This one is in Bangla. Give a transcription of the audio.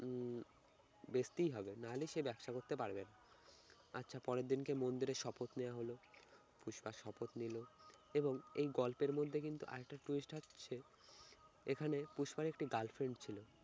উহ বেচতেই হবে না হলে সে ব্যবসা করতে পারবে না আচ্ছা পরের দিন কে মন্দিরে শপথ নেয়া হলো পুষ্পা শপথ নিল এবং এই গল্পের মধ্যে কিন্তু আরেকটা twist থাকছে এখানে পুষ্পার একটি girlfriend ছিল